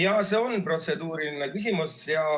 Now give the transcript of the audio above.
Jaa, see on protseduuriline küsimus.